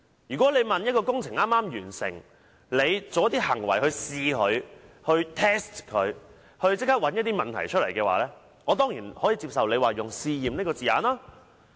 如果一項政府工程剛剛完成，政府作出一些行為來試驗它以期找出一些問題，我當然可以接受政府用"試驗"二字形容該等行為。